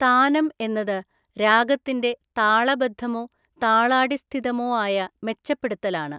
താനം എന്നത് രാഗത്തിന്റെ താളബദ്ധമോ, താളാടിസ്ഥിതമോ ആയ മെച്ചപ്പെടുത്തലാണ്.